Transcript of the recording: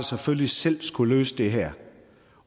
selvfølgelig selv skulle løse det her